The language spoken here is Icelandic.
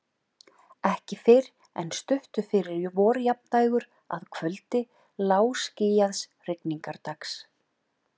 Ekki fyrr en stuttu fyrir vorjafndægur, að kvöldi lágskýjaðs rigningardags.